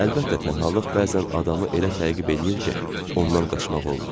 Əlbəttə tənhalıq bəzən adamı elə təqib eləyir ki, ondan qaçmaq olmur.